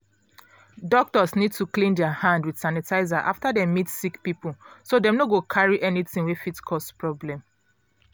doctors need to clean der hand with sanitizer after dey meet sick people so dem no go carry anything wey fit cause problem.